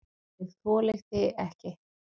ÉG ÞOLI ÞIG EKKI!